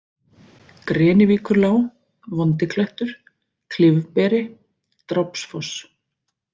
Grenivíkurlág, Vondiklettur, Klyfberi, Drápsfoss